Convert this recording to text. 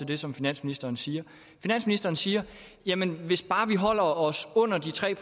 det som finansministeren siger finansministeren siger jamen hvis bare vi holder os under de tre